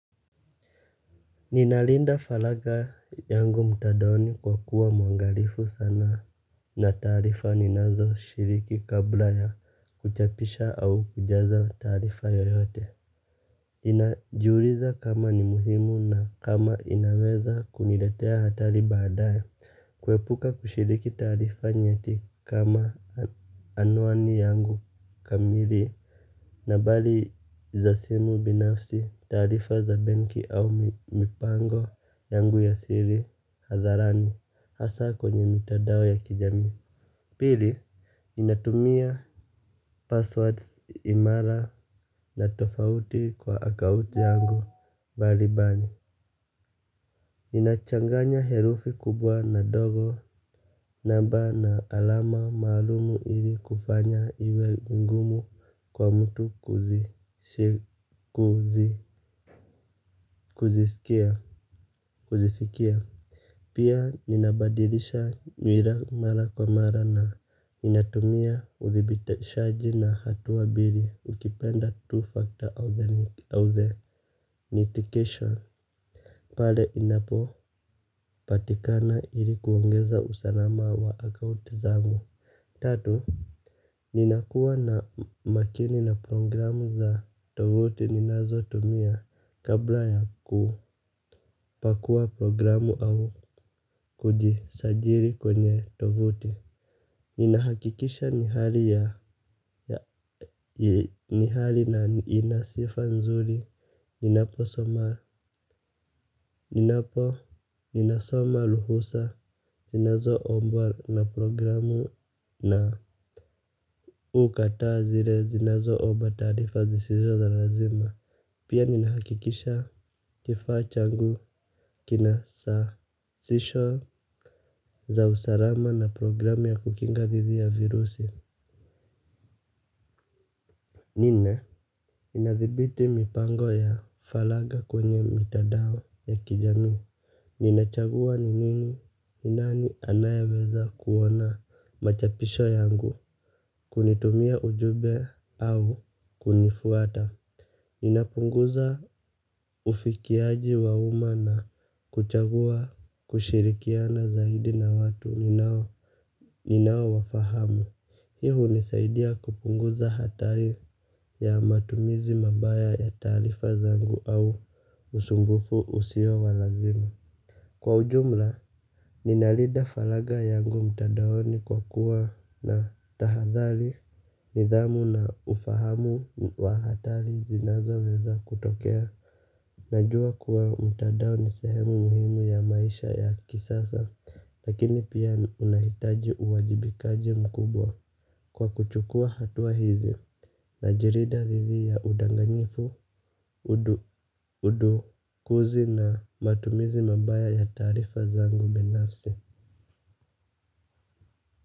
Ninalinda faraga yangu mtandaoni kwa kuwa mwangalifu sana na taarifa ninazoshiriki kabla ya kuchapisha au kujaza taarifa yoyote. Ninajiuliza kama ni muhimu na kama inaweza kuniletea hatari baadaye kuepuka kushiriki taarifa nyeti kama anwani yangu kamili nambari za simu binafsi taarifa za benki au mipango yangu ya siri hatharani hasaa kwenye mitandao ya kijamii. Pili, ninatumia passwords imara na tofauti kwa akaubti yangu mbali mbali. Ninachanganya herufi kubwa na ndogo namba na alama maalumu ili kufanya iwe ngumu kwa mtu kuzisikia kuzifikia. Pia ninabadilisha nywila mara kwa mara na ninatumia uthibitashaji na hatua mbili ukipenda two factor authentication pale inapo patikana ili kuongeza usalama wa akaunti zangu. Tatu, ninakuwa na makini na programu za tovuti ninazotumia kabla ya kupakua programu au kujisajili kwenye tovuti. Ninahakikisha ni hali na ina sifa nzuri. Ninapo ninasoma ruhusa zinazo mbwa na programu na mimi hukataa zile zinazoomba taarifa sizizo za lazima. Pia ninahakikisha kifaa changu kina sasisho za usalama na programu ya kukinga thidi ya virusi. Nne inadhibiti mipango ya falagha kwenye mitandao ya kijamii. Ninachagua ni nini ni nani anayeweza kuona machapisho yangu kunitumia ujumbe au kunifuata. Ninapunguza ufikiaji wa uma na kuchagua kushirikiana zaidi na watu ninaowafahamu. Hii hunisaidia kupunguza hatari ya matumizi mabaya ya taarifa zangu au usumbufu usio wa lazima. Kwa ujumla, ninalinda faraga yangu mtandaoni kwa kuwa na tahathari nidhamu na ufahamu wa hatari zinazoweza kutokea. Najua kuwa mtandao ni sehemu muhimu ya maisha ya kisasa. Lakini pia unahitaji uwajibikaji mkubwa. Kwa kuchukua hatua hizi najilinda dhidi ya udanganyifu, udukuzi na matumizi mabaya ya taarifa zangu binafsi.